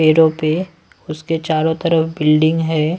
पैरों पे उसके चारों तरफ बिल्डिंग है।